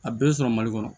A bɛɛ sɔrɔ mali kɔnɔ